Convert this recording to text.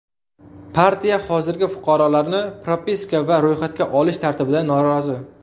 Partiya hozirgi fuqarolarni propiska va ro‘yxatga olish tartibidan norozi.